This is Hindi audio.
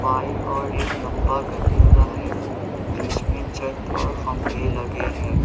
और एक लंबा गलियारा है जिसमें छत और खंभे लगे है।